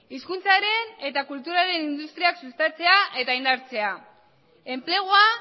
hizkuntzaren eta kulturaren industriak sustatzea eta indartzea enplegua